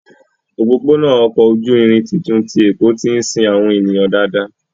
Òpópónà ọkọ̀ ojú irin tuntun ti Èkó tí ń sin àwọn ènìyàn dáadáa